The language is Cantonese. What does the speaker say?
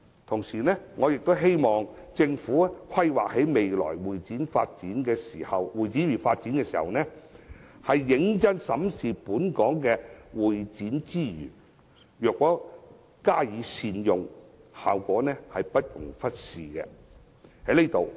同時，我也希望政府在規劃未來的會展業發展時，認真審視本港的會展資源，若能加以善用，效果不容忽視。